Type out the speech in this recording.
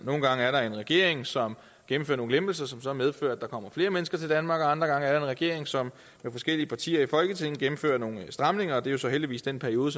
nogle gange er der en regering som gennemfører nogle lempelser som som medfører at der kommer flere mennesker til danmark og andre gange er der en regering som med forskellige partier i folketinget gennemfører nogle stramninger det er så heldigvis den periode